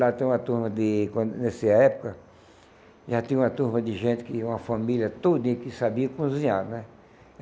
Lá tem uma turma de quando... Nessa época, já tinha uma turma de gente, uma família todinha que sabia cozinhar, né?